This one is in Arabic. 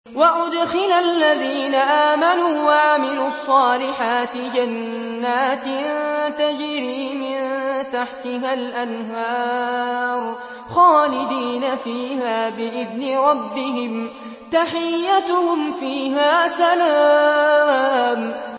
وَأُدْخِلَ الَّذِينَ آمَنُوا وَعَمِلُوا الصَّالِحَاتِ جَنَّاتٍ تَجْرِي مِن تَحْتِهَا الْأَنْهَارُ خَالِدِينَ فِيهَا بِإِذْنِ رَبِّهِمْ ۖ تَحِيَّتُهُمْ فِيهَا سَلَامٌ